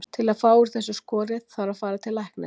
Til að fá úr þessu skorið þarf að fara til læknis.